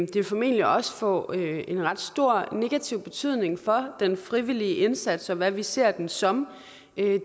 vil formentlig også få en ret stor negativ betydning for den frivillige indsats og hvad vi ser den som